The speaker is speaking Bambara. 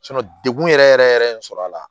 dekun yɛrɛ yɛrɛ yɛrɛ ye sɔrɔ a la